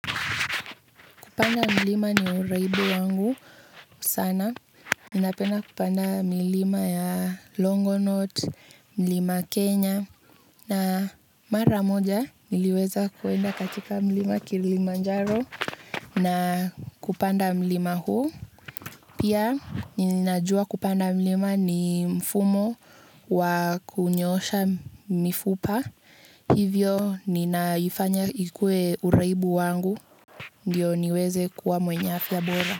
Kupanda mlima ni uraibu wangu sana. Ninapenda kupanda mlima ya Longonot, Mlima Kenya. Na mara moja, niliweza kuenda katika Mlima Kilimanjaro na kupanda mlima huu. Pia, ninajua kupanda mlima ni mfumo wa kunyoosha mifupa. Hivyo, ninaifanya ikuwe uraibu wangu. Ndio niweze kuwa mwenye afya bora.